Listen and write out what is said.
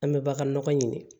An bɛ bagan nɔgɔ ɲini